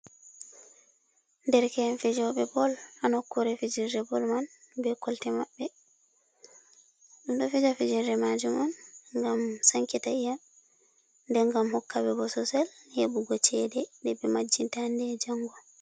Derke’en fijoɓe bol ha nokkure fijirde bol man be kolte maɓɓe. Ɗum ɗo fija fijirɗe majum on ngam sankita iyam, nden ngam hokka ɓe bososel heɓugo chede nde ɓe majjinta hande be jango.